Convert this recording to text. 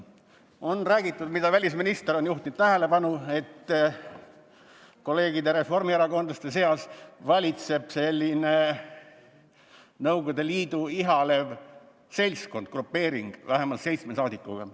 On räägitud – välisminister on sellele tähelepanu juhtinud –, et kolleegide reformierakondlaste seas valitseb selline Nõukogude Liitu ihalev seltskond, grupeering vähemalt seitsme saadikuga.